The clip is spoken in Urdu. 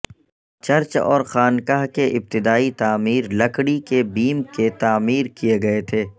چرچ اور خانقاہ کے ابتدائی تعمیر لکڑی کے بیم کے تعمیر کیے گئے تھے